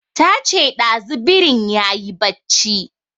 Ta ce ɗazu birin yayi barci